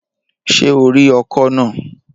Ṣé o rí ọkọ̀ náà?